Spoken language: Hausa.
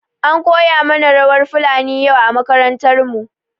An koya mana rawar fulani yau a makarantar mu.